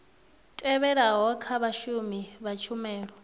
tevhelaho kha vhashumi vha tshumelo